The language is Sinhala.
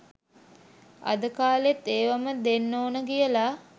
අද කාලෙත් ඒවම දෙන්නොන කියල